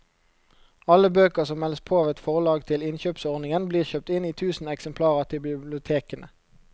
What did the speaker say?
Alle bøker som meldes på av et forlag til innkjøpsordningen blir kjøpt inn i tusen eksemplarer til bibliotekene.